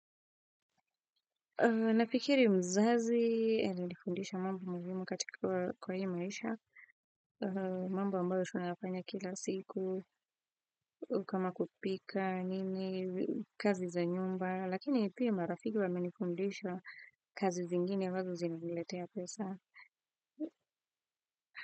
Nafikiri mzazi, alinifundisha mambo muhimu katika kwa hii maisha, mambo ambayo sana nafanya kila siku, kama kupika, nini, kazi za nyumba, lakini pia marafiki wamenifundisha kazi zingine ambazo zimeniletea pesa.